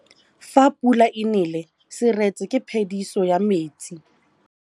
Fa pula e nelê serêtsê ke phêdisô ya metsi.